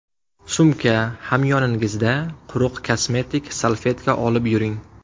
Sumka, hamyoningizda quruq kosmetik salfetka olib yuring.